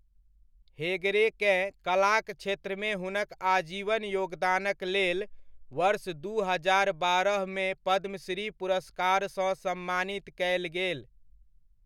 हेगड़ेकेँ कलाक क्षेत्रमे हुनक आजीवन योगदानक लेल वर्ष दू हजार बारहमे पद्मश्री पुरस्कारसँ सम्मानित कयल गेल।